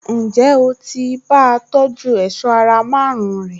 Ǹjẹ́ o ti bá a tọjú èṣọ́ ara márùn-ún rẹ̀?